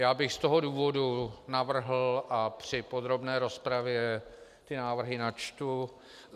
Já bych z toho důvodu navrhl, a při podrobné rozpravě ty návrhy načtu: